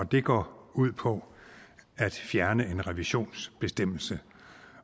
det går ud på at fjerne en revisionsbestemmelse